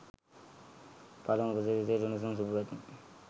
පලමු උපසිරැසියට උණුසුම් සුභපැතුම්.